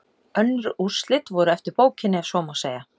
Önnur úrslit voru eftir bókinni ef svo má segja.